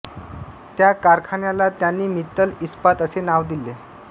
त्या कारखान्याला त्यांनी मित्तल इस्पात असे नाव दिले